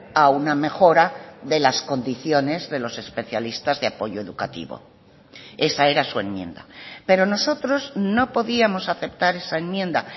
a una mejora de las condiciones de los especialistas de apoyo educativo esa era su enmienda pero nosotros no podíamos aceptar esa enmienda